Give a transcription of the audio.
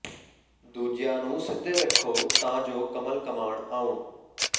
ਦੂਜਿਆਂ ਨੂੰ ਸਿੱਧੇ ਰੱਖੋ ਤਾਂ ਜੋ ਕਮਲ ਕਮਾਣ ਆਉਣ